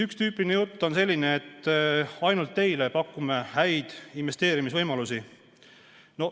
Üks tüüpiline jutt on selline, et ainult teile pakutakse neid häid investeerimisvõimalusi.